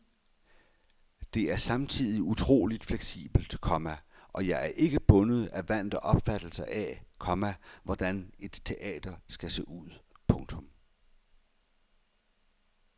Det er samtidig utroligt fleksibelt, komma og jeg er ikke bundet af vante opfattelser af, komma hvordan et teater skal se ud. punktum